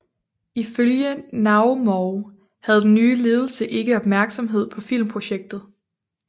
Ifølge Naumov havde den nye ledelse ikke opmærksomhed på filmprojektet